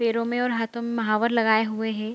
पेड़ों में और हातों में महावर लगाए हुए हैं।